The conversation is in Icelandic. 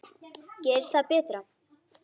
Gerist það betra.